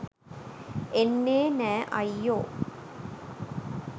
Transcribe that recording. එන්නේ නෑ අයියෝ.